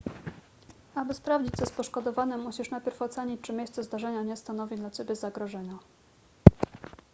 aby sprawdzić co z poszkodowanym musisz najpierw ocenić czy miejsce zdarzenia nie stanowi dla ciebie zagrożenia